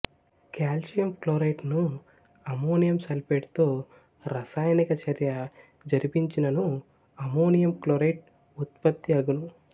calcium chlorate ను ammonium sulphate తో రసాయనిక చర్య జరిపించినను అమ్మోనియం క్లోరెట్ ఉత్పత్తి అగును